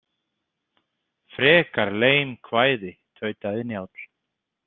Frekar leim kvæði, tautaði Njáll.